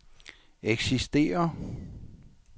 eksisterer